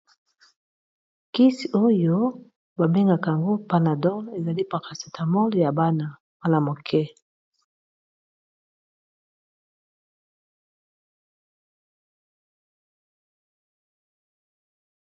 Kisi oyo ba bengaka yango Panadol ezali paracetamole ya bana mwana moke.